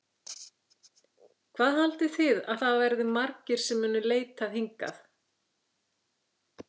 Hvað haldið þið að það verði margir sem munu leitað hingað?